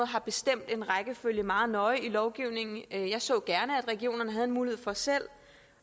har bestemt en rækkefølge meget nøje i lovgivningen jeg så gerne at regionerne havde en mulighed for selv